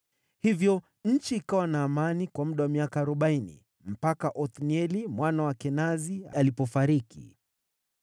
Hivyo nchi ikawa na amani kwa muda wa miaka arobaini, mpaka Othnieli mwana wa Kenazi alipofariki.